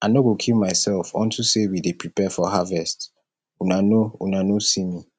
i no go kill myself unto say we dey prepare for harvest una no una no see me